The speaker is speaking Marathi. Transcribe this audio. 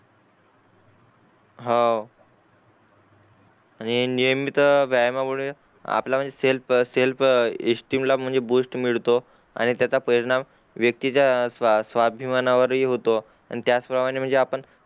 हां आणि नियमित व्यायमा मुळे आपला म्हणजे सेल्फ सेल्फ एस्टीम ला म्हणजे बूस्ट मिळतो आणि त्याचा परिणाम व्यक्तीचा स्वाभिमाना वर हि होतो आणि त्याच प्रमाणे म्हणजे आपण